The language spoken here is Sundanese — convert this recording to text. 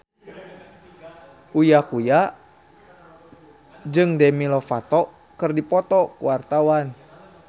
Uya Kuya jeung Demi Lovato keur dipoto ku wartawan